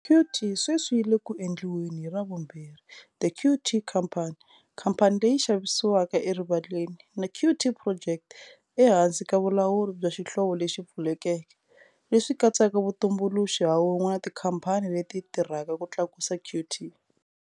Qt sweswi yi le ku endliweni hi ravumbirhi The Qt Company, khamphani leyi xavisiwaka erivaleni, na Qt Project ehansi ka vulawuri bya xihlovo lexi pfulekeke, leswi katsaka vatumbuluxi ha un'we na tikhamphani leti tirhaka ku tlakusa Qt.